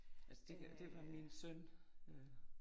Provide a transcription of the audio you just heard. Altså det kan det var min søn øh